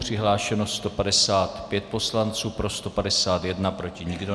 Přihlášeno 155 poslanců, pro 151, proti nikdo.